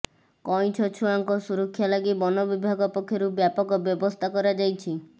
କଇଁଛ ଛୁଆଙ୍କ ସୁରକ୍ଷା ଲାଗି ବନବିଭାଗ ପକ୍ଷରୁ ବ୍ୟାପକ ବ୍ୟବସ୍ଥା କରାଯାଇଛି